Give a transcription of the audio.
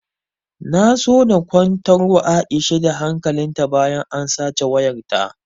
Na so na kwantar wa aisha da hankalin ta bayan an sace wayar ta